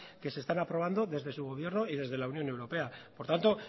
que se están aprobando desde su gobierno y desde la unión europea por tanto